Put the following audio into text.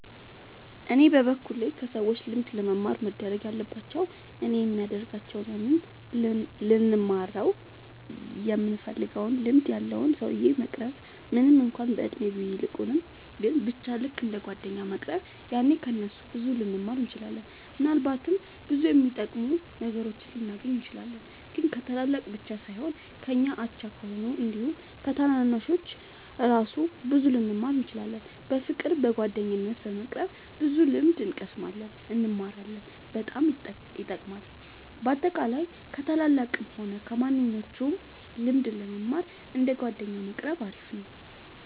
እኔ በበኩሌ ከሰዎች ልምድ ለመማር መደረግ ያለባቸው እኔም የሚደርጋቸው ያንን ልንማረው ይምንፈልገውን ልምድ ያለውን ሰውዬ መቅረብ ምንም እንኳን በእድሜ ቢልቁንም ግን በቻ ልክ እንደ ጓደኛ መቅረብ ያኔ ከ እነሱ ብዙ ልንማር እንችላለን። ምናልባትም ብዙ የሚጠቅሙ ነገሮችን ልናገኝ እንችላለን። ግን ከታላላቅ ብቻ ሳይሆን ከኛ አቻ ከሆኑት አንዲሁም ከታናናሾቹ እራሱ ብዙ ልንማር እንችላለን። በፍቅር በጓደኝነት በመቅረብ ብዙ ልምድ እንቀስማለን እንማራለን በጣም ይጠቅማል። በአጠቃላይ ከ ታላላቅም ሆነ ከማንኞቹም ልምድ ለመማር እንደ ጓደኛ መቆረብ አሪፍ ነው